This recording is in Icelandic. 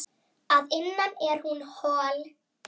Að innan er hún hol.